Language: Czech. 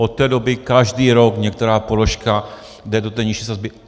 Od té doby každý rok některá položka jde do té nižší sazby.